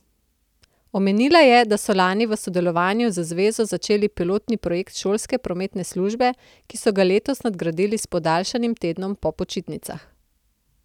Omenila je, da so lani v sodelovanju z zvezo začeli pilotni projekt šolske prometne službe, ki so ga letos nadgradili s podaljšanim tednom po počitnicah.